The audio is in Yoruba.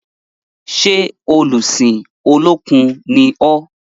Ṣé olùsìn Olókun ni ọ́?